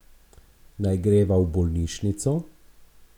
Naj greva v bolnišnico?